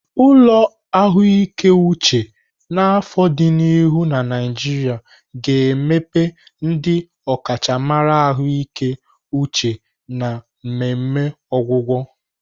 Ụlọ ahụike uche n'afọ di n'ihu na Naijiria ga-emepe ndị ọkachamara ahụike uche na mmemme ọgwụgwọ.